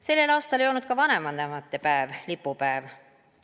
Sellel aastal ei olnud ka vanavanemate päev lipupäev.